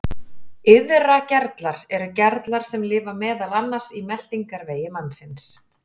Iðragerlar eru gerlar sem lifa meðal annars í meltingarvegi mannsins.